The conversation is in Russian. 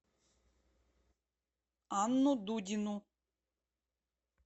анну дудину